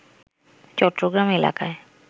চট্টগ্রাম এলাকায়